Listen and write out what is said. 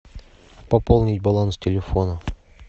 пополнить баланс телефона